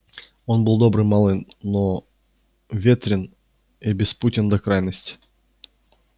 он был добрый малый но ветрен и беспутен до крайности